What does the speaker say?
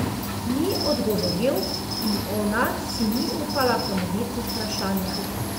Ni odgovoril in ona si ni upala ponoviti vprašanja.